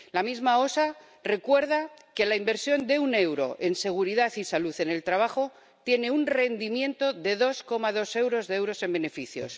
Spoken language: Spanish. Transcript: La misma EU OSHA recuerda que la inversión de un euro en seguridad y salud en el trabajo tiene un rendimiento de 2,2 euros en beneficios.